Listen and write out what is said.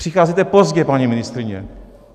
Přicházíte pozdě, paní ministryně.